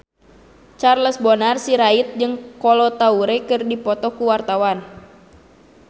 Charles Bonar Sirait jeung Kolo Taure keur dipoto ku wartawan